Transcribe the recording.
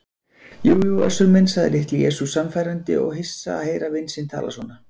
Jú jú Össur minn, sagði Litli-Jesús sannfærandi og hissa að heyra vin sinn tala svona.